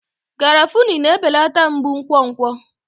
Garafuni na-ebelata mgbu nkwonkwo.